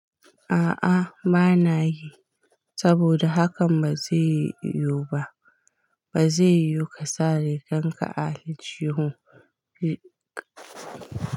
A'a bana yi, saboda hakan ba zai yiwu ba. Ba zai yiwu ka sa riganka a aljihu.